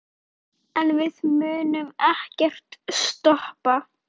En við munum ekkert stoppa.